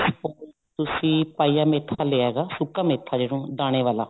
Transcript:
ਤੁਸੀਂ ਪਾਈਆਂ ਮੇਥਾ ਲਿਆ ਹੈਗਾ ਸੁੱਕਾ ਮੇਥਾ ਜਿਹੜਾ ਦਾਣੇ ਵਾਲਾ